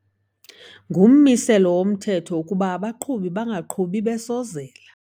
Ngummiselo womthetho ukuba abaqhubi bangaqhubi besozela.